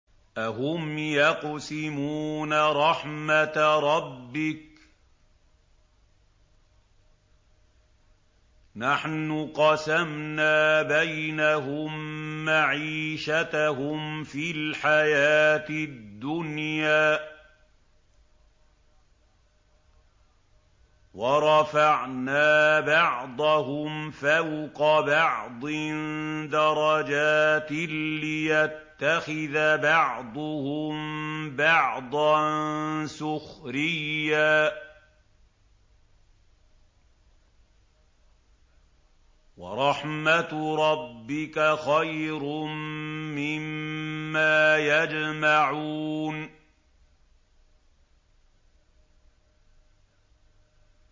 أَهُمْ يَقْسِمُونَ رَحْمَتَ رَبِّكَ ۚ نَحْنُ قَسَمْنَا بَيْنَهُم مَّعِيشَتَهُمْ فِي الْحَيَاةِ الدُّنْيَا ۚ وَرَفَعْنَا بَعْضَهُمْ فَوْقَ بَعْضٍ دَرَجَاتٍ لِّيَتَّخِذَ بَعْضُهُم بَعْضًا سُخْرِيًّا ۗ وَرَحْمَتُ رَبِّكَ خَيْرٌ مِّمَّا يَجْمَعُونَ